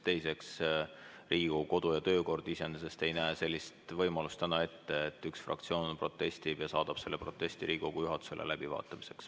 Teiseks, Riigikogu kodu- ja töökord iseenesest ei näe sellist võimalust ette, et üks fraktsioon protestib ja saadab selle protesti Riigikogu juhatusele läbivaatamiseks.